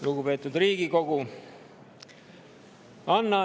Lugupeetud Riigikogu!